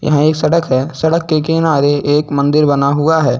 यहां एक सड़क है सड़क के किनारे एक मंदिर बना हुआ है।